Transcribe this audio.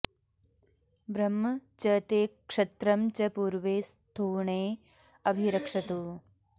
ब्रह्म॑ च ते क्ष॒त्रं च॒ पूर्वे॒ स्थूणे॑ अ॒भि र॑क्षतु